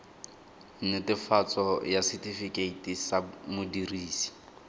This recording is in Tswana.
netefatso ya setifikeite sa modirisi